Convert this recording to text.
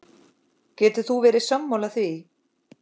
Getur þú verið sammála því?